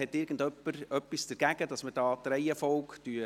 Hat jemand etwas dagegen, dass wir die Reihenfolge ändern?